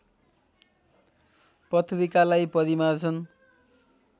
पत्रिकालाई परिमार्जन